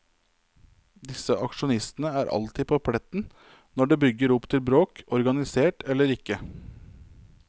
Disse aksjonistene er alltid på pletten når det brygger opp til bråk, organisert eller ikke.